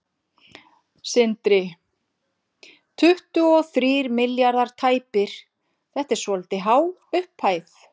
Sindri: Tuttugu og þrír milljarðar tæpir, þetta er svolítið há fjárhæð?